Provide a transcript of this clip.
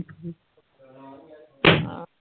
ਹਾਂ